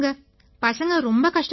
பசங்க ரொம்ப கஷ்டப்பட்டாங்க